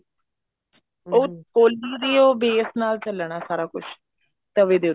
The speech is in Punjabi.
ਉਹ ਕੋਲੀ ਦੇ ਉਹ base ਨਾਲ ਚੱਲਣਾ ਸਾਰਾ ਕੁੱਛ ਤਵੇ ਦੇ ਉੱਤੇ